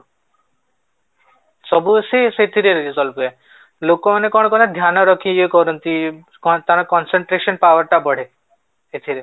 ସବୁ ସେଥିରେ resolve ହୁଏ, ଲୋକ ମାନେ କଣ କରନ୍ତି ଧ୍ୟାନ ରଖି ଇଏ କରନ୍ତି କଣ ତାଙ୍କର concentration power ଟା ବଢେ ଏଥିରେ